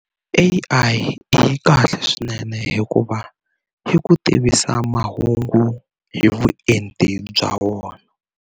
A_I yi kahle swinene hikuva yi ku tivisa mahungu hi vuenti bya wona.